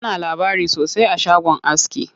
Ana labari sosai a shagon aski.